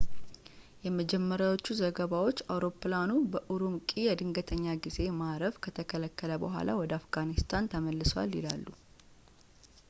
የመጀመሪያዎቹ ዘገባዎች አውሮፕላኑ በኡሩምቂ የድንገተኛ ጊዜ ማረፍ ከተከለከለ በኋላ ወደ አፍጋኒስታን ተመልሷል ይላሉ